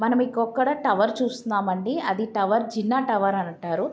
మనం ఇక్కడొకడ టవర్ చూస్తున్నాం అండి అది టవర్ జిన్నా టవర్ అని అంటారు.